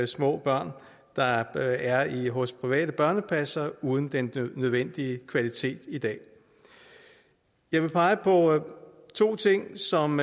små børn der er hos private børnepassere uden den nødvendige kvalitet i dag jeg vil pege på to ting som